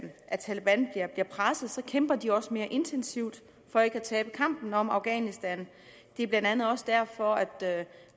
at taleban bliver presset kæmper de også mere intensivt for ikke at tabe kampen om afghanistan det er blandt andet også derfor